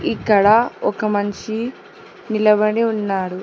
ఇక్కడ ఒక మనిషి నిలబడి ఉన్నాడు